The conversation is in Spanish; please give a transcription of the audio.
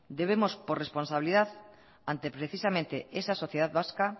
debemos por responsabilidad ante precisamente esa sociedad vasca